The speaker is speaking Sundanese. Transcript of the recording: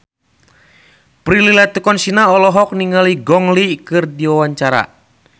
Prilly Latuconsina olohok ningali Gong Li keur diwawancara